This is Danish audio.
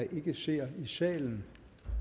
ministeren i salen